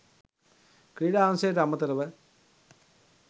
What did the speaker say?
ක්‍රීඩා අංශයට අමතරව